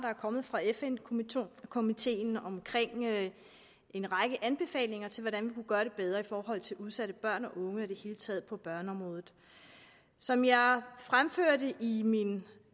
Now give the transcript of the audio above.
er kommet fra fn komiteen komiteen med en række anbefalinger til hvordan vi kunne gøre det bedre i forhold til udsatte børn og unge og i det hele taget på børneområdet som jeg fremførte i min